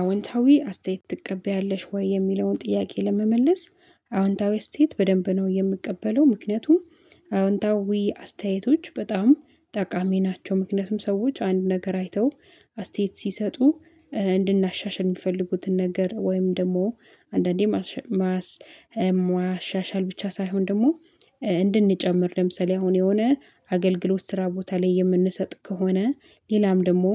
አዎንታዊ አስተያየት ትቀበያለሽ ወይ? የሚለውን ጥያቄ ለመመለስ አዎንታዊ አስቴያየት በደንብ ነው የምቀበለው። ምክንያቱም አዎንታዊ አስተያየቶች በጣም ጠቃሚ ናቸው። ምክንያቱም ሰዎች አንድ ነገር አይተው አስተያየት ሲሰጡ እንድናሻሽል የሚፈልጉትን ነገር ወይም ደግሞ አንዳንዴ ማሻሻል ብቻ ሳይሆን ደግሞ እንድንጨምር ለምሳሌ አሁን የሆነ አገልግሎት ስራ ቦታ ላይ የምንሰጥ ከሆነ፤ ሌላም ደግሞ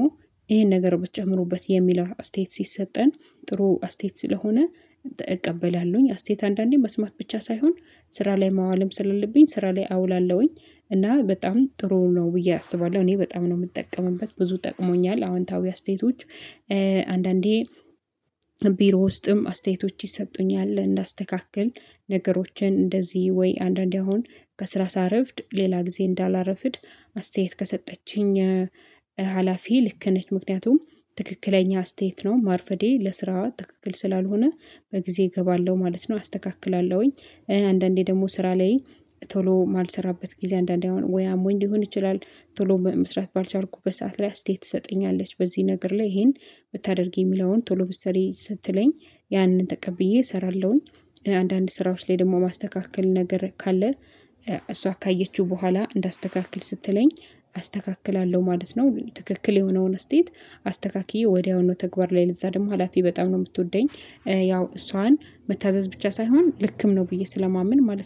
ይሄን ነገር ብትጨምሩበት የሚል አስተያየት ሲሰጠን ጥሩ አስተያየት ስለሆነ እቀበላለሁኝ አስተያየት አንዳንዴ መስማት ብቻ ሳይሆን ስራ ላይ ማዋልም ስላለብኝ ስራ ላይ አውላለሁኝ። እና በጣም ጥሩ ነው ብዬ አስባለሁ። እኔ በጣም ነው የምጠቀምበት፤ ብዙ ጠቅሞኛል አዎንታዊ አስተያየቶች አንዳንዴ ቢሮ ውስጥም አስተያየቶች ይሰጡኛል እንዳስተካክል። ነገሮችን እንደዚህ ወይ አንዳንዴ አሁን ከስራ ሳረፍድ ሌላ ጊዜ እንዳላረፍድ አስተያየት ከሰጠችኝ ሀላፊ ልክ ነች። ምክንያቱም ትክክለኛ አስተያየት ነው ማርፈዴ ለስራ ትክክል ስላልሆነ በጊዜ እገባለሁ ማለት ነው። አስተካክላለሁኝ። አንዳንዴ ደግሞ ስራ ላይ ቶሎ ማልሰራበት ጊዜ አንዳንዴ አሁን ወይ አሞኝ ሊሆን ይችላል ቶሎ መስራት ባልቻልኩ በሰአት ላይ አስተያየት ትሰጠኛለች በዚህ ነገር ላይ ይሄን ብታደርጊ የሚለውን፤ ቶሎ ብትሰሪ ስትለኝ ያንን ተቀብዬ እሰራለሁኝ። አንዳንድ ስራዎች ላይ ደግሞ ማስተካከል ነገር ካለ እሷ ካየችው በኋላ እንዳስተካክል ስትለኝ አስተካክላለሁ ማለት ነው። ትክክል የሆነውን አስቴያየት አስተካክዬ ወዲያውኑ ተግባር ላይ ለዛ ደግሞ ሀላፊ በጣም ነው የምትወደኝ። ያው እሷን መታዘዝ ብቻ ሳይሆን ልክም ነው ብዬ ስለማመን ማለት ነው።